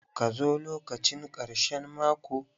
Ka zo lokacin karshen mako!